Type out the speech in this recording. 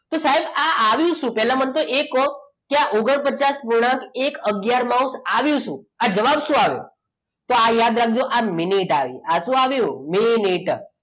તો સાહેબ આ આવ્યુ શું? પહેલા મને એકો કે આ ઓગણપચાસ એક આગયાર માઉસ આવ્યું શું આ જવાબ શું આવ્યો તો આ યાદ રાખજો આ મિનિટ આવી મિનિટ